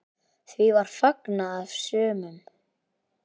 Því var fagnað af sumum.